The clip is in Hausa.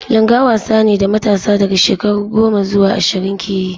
Langa wasa ne da matasa daga shekaru goma zuwa ashirin ke yi.